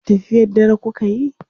tafiyar dare kukayi?